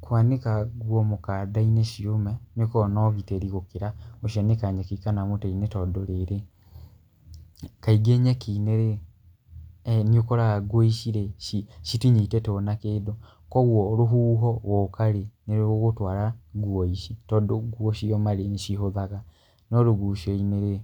Kwanĩka nguo mũkanda-inĩ ciũme gũkoragwo na ũgitĩri gũkĩra gũcianĩka nyeki kana mũtĩ-inĩ tondũ-rĩrĩ, kaingĩ nyeki-inĩ rĩ nĩũkoraga nguo ici-rĩ ci citinyitĩtwo na kĩndũ kũgwo rũhuho ruoka-rĩ nĩ rũgũtwara nguo ici tondũ nguo cioma-rĩ nĩcihothaga no rũgucioinĩ-rĩ